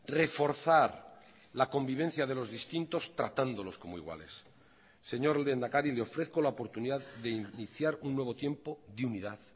reforzar la convivencia de los distintos tratándolos como iguales señor lehendakari le ofrezco la oportunidad de iniciar un nuevo tiempo de unidad